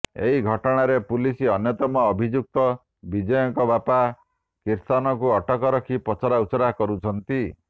ଏହି ଘଟଣାରେ ପୁଲିସ ଅନ୍ୟତମ ଅଭିଯୁକ୍ତ ବିଜୟଙ୍କ ବାପା କିର୍ତ୍ତନକୁ ଅଟକ ରଖି ପଚରା ଉଚୁରା କରୁଛନ୍ତି